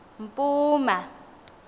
mpuma